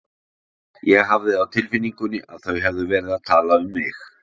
Ég hafði á tilfinningunni að þau hefðu verið að tala um mig.